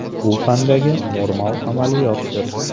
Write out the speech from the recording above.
Bu – fandagi normal amaliyotdir.